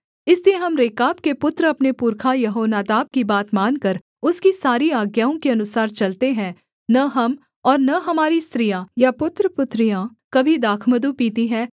इसलिए हम रेकाब के पुत्र अपने पुरखा यहोनादाब की बात मानकर उसकी सारी आज्ञाओं के अनुसार चलते हैं न हम और न हमारी स्त्रियाँ या पुत्रपुत्रियाँ कभी दाखमधु पीती हैं